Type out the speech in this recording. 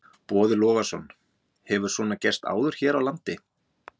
Boði Logason: Hefur svona gerst áður hér á landi?